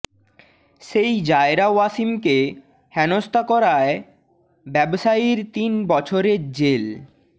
সেই জায়রা ওয়াসিমকে হেনস্তা করায় ব্যবসায়ীর তিন বছরের জেল